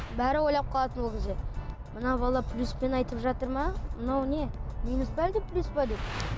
бәрі ойлап қалатын ол кезде мына бала плюспен айтып жатыр ма мынау не минус пе әлде плюс пе деп